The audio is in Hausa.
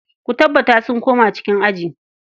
Ku tabbata sun koma cikin aji.